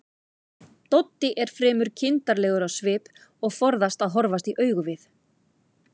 Doddi er fremur kindarlegur á svip og forðast að horfast í augu við